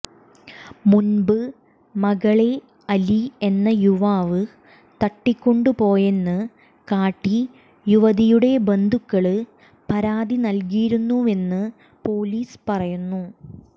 മുൻപ് മകളെ അലി എന്ന യുവാവ് തട്ടിക്കൊണ്ടുപോയെന്ന് കാട്ടി യുവതിയുടെ ബന്ധുക്കള് പരാതി നല്കിയിരുന്നുവെന്ന് പോലീസ് പറഞ്ഞു